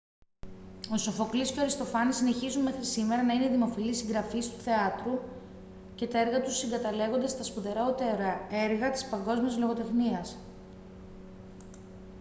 ο σοφοκλής και ο αριστοφάνης συνεχίζουν μέχρι σήμερα να είναι δημοφιλείς συγγραφείς του θεάτρου και τα έργα τους συγκαταλέγονται στα σπουδαιότερα έργα της παγκόσμιας λογοτεχνίας